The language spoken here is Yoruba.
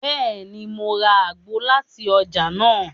Bẹẹni, Mo rà àgbo láti ọjà nàá